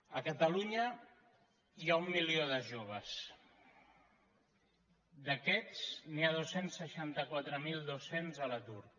a catalunya hi ha un milió de joves d’aquests n’hi ha dos cents i seixanta quatre mil dos cents a l’atur